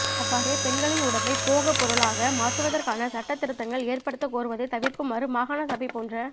அவ்வாறே பெண்களின் உடம்பைப் போகப்பொருளாக மாற்றுவதற்கான சட்ட திருத்தங்கள் ஏற்படுத்தக் கோருவதைத் தவிர்க்குமாறு மாகாண சபை போன்ற